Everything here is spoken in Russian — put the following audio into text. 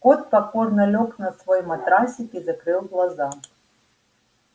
кот покорно лёг на свой матрасик и закрыл глаза